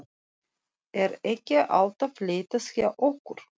Er ekki alltaf leitað hjá okkur?